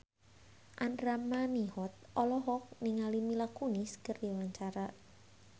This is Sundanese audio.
Andra Manihot olohok ningali Mila Kunis keur diwawancara